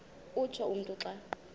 utsho umntu xa